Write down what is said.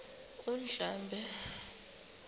undlambe